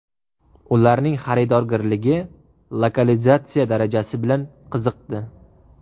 Ularning xaridorgirligi, lokalizatsiya darajasi bilan qiziqdi.